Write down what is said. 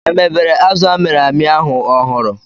Emebere azụ a mịrị amị ahu ọhụrụ